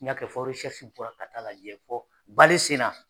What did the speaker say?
N y'a kɛ fɔ ka taa lajɛ fɔ Palastina!